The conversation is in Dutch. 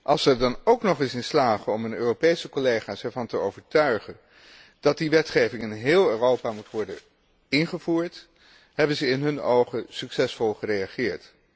Als ze er dan ook nog eens in slagen om hun Europese collega's ervan te overtuigen dat die wetgeving in heel Europa moet worden ingevoerd, hebben ze in hun ogen succesvol gereageerd.